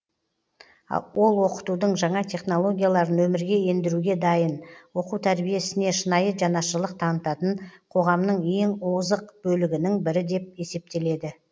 ол оқытудың жаңа технологияларын өмірге ендіруге дайын оқу тәрбие ісіне шынайы жанашырлық танытатын қоғамнын ең озық бөлігінің бірі деп есептеледі